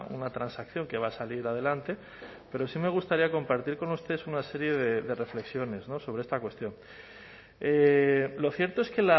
una transacción que va a salir adelante pero sí me gustaría compartir con ustedes una serie de reflexiones sobre esta cuestión lo cierto es que